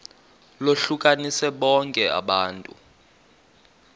lohlukanise bonke abantu